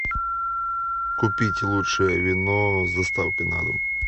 купить лучшее вино с доставкой на дом